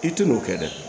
I tɛ n'o kɛ dɛ